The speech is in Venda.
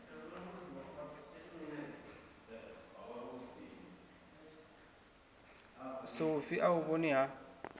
sofi a u vhoni ha